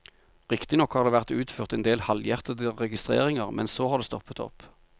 Riktignok har det vært utført endel halvhjertede registreringer, men så har det stoppet opp.